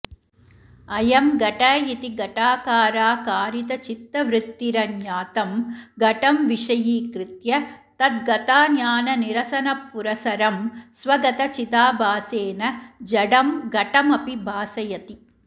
अयं घट इति घटाकाराकारितचित्तवृत्तिरज्ञातं घटं विषयीकृत्य तद्गताज्ञाननिरसनपुरःसरं स्वगतचिदाभासेन जडं घटमपि भासयति